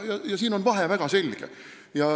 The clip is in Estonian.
Siin on vahe väga selge.